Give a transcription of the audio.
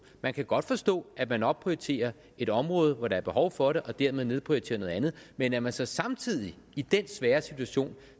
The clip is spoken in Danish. man kan godt forstå at man opprioriterer et område hvor der er behov for det og dermed nedprioriterer noget andet men at man så samtidig i den svære situation